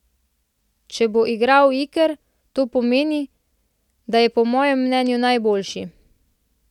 Če bo igral Iker, to pomeni, da je po mojem mnenju najboljši.